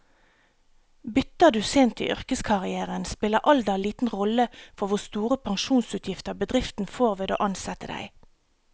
Bytter du sent i yrkeskarrieren, spiller alder liten rolle for hvor store pensjonsutgifter bedriften får ved å ansette deg.